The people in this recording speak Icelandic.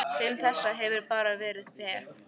Til þessa hefurðu bara verið peð.